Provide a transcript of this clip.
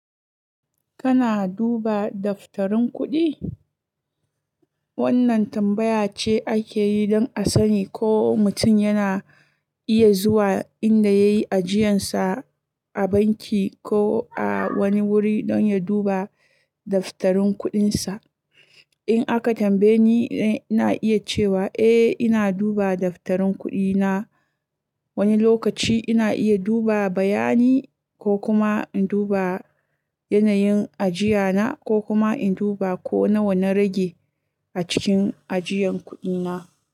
Kana duba daftarin kuɗi? Wannan tambaya ce ake yi don a sani ko mutum yana iya zuwa inda yayi ajiyarsa a banki ko a wani wuri don ya duba daftarin kuɗinsa. In aka tambaye ni, ina iya cewa eh ina duba daftarin kuɗina. Wani lokaci ina iya duba bayani ko kuma in duba yanayin ajiya na ko kuma in duba ko nawa na rage a cikin ajiyan kuɗina.